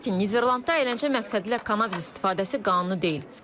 Lakin Niderlandda əyləncə məqsədilə kannabis istifadəsi qanuni deyil.